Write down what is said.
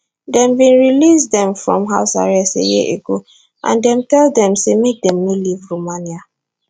dem bin release dem from house arrest a year ago and dem tell dem say make dem no leave romania